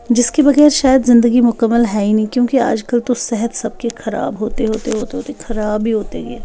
जिसके बगैर शायद ज़िंदगी मुकम्मल है ही नहीं क्योंकि आजकल तो सेहत सबकी खराब होते होते होते होते खराब ही होती है।